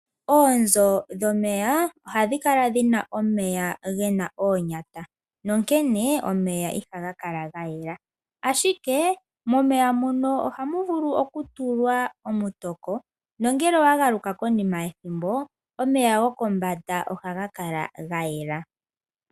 Oonzo dhomeya ohadhi kala dhina omeya gena oonyata nonkene omeya ihaga kala ga yela, ashike momeya muno ohamu vulu oku tulwa omutoko nongele owa galuka konima yethimbo, omeya gokombanda ohaga kala ga yela.